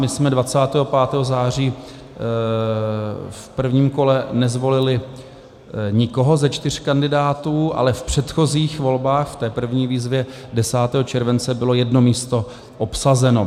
My jsme 25. září v prvním kole nezvolili nikoho ze čtyř kandidátů, ale v předchozích volbách, v té první výzvě 10. července, bylo jedno místo obsazeno.